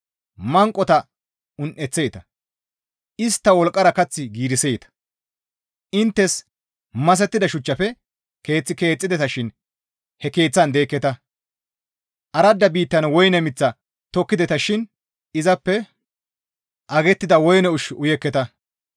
Manqota un7eththeeta; istta wolqqara kath giiriseeta; inttes masettida shuchchafe keeth keexxideta shin he keeththan deekketa. Aradda biittan woyne miththa tokkideta shin izappe agettida woyne ushshu uyekketa.